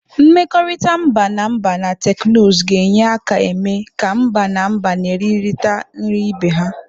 Mmekọrịta mba na mba na teknụzụ ga-enye aka eme ka mba na mba n'eririta nri ibe ha.